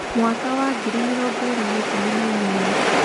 Mwaka wa ngiri mĩrongo ĩĩrĩ na ikũmi na inyanya: